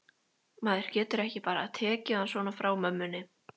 Maður getur ekki bara tekið hann svona frá mömmunni.